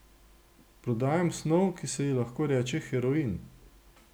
Prodajamo snov, ki se ji lahko reče heroin.